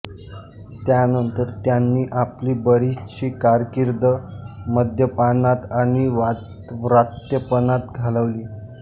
त्यानंतर त्यांनी आपली बरीचशी कारकीर्द मद्यपानात आणि व्रात्यपणात घालवली